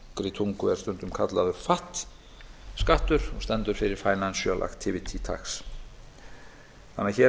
tungu er stundum kallaður fat skattur sem stendur fyrir financial activity tax hér er því